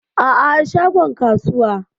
Aa, a shagon kasuwa.